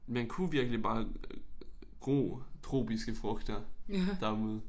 Man kunne virkelig bare gro tropiske frugter derude